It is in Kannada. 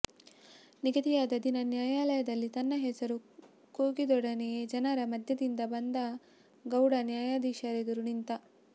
ನಿಗಧಿಯಾದ ದಿನ ನ್ಯಾಯಾಲಯದಲ್ಲಿ ತನ್ನ ಹೆಸರು ಕೂಗಿದೊಡನೆಯ ಜನರ ಮಧ್ಯದಿಂದ ಬಂದಗೌಡ ನ್ಯಾಯಧೀಶರೆದುರು ನಿಂತ